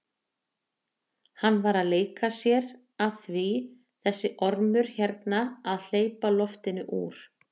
Hann var að leika sér að því þessi ormur hérna að hleypa loftinu úr!